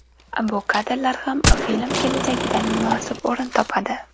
Bu kadrlar ham film kelajagidan munosib o‘rin topadi.